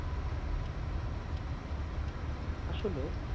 আসলে,